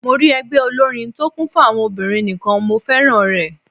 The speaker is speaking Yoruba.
Mo rí ẹgbẹ́ olórin tó kún fún àwọn obìnrin nìkan, mo féràn rẹ̀.